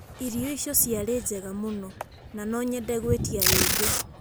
Irio icio ciarĩ njega mũno, na no nyende gwĩtĩa rĩngĩ.